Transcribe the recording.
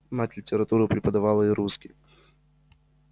мать литературу преподавала и русский